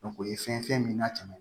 o ye fɛn min n'a tɛmɛ